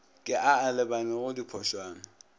ke a a lebanego diphošwana